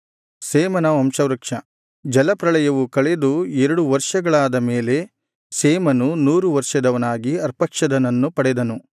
ಶೇಮನ ವಂಶವೃಕ್ಷ ಜಲಪ್ರಳಯವು ಕಳೆದು ಎರಡು ವರ್ಷಗಳಾದ ಮೇಲೆ ಶೇಮನು ನೂರು ವರ್ಷದವನಾಗಿ ಅರ್ಪಕ್ಷದನನ್ನು ಪಡೆದನು